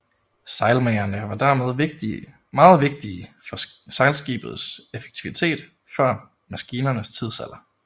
Sejlmagerne var dermed meget vigtige for sejlskibets effektivitet før maskinernes tidsalder